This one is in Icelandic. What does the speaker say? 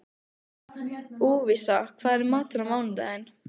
Lúvísa, hvað er í matinn á mánudaginn?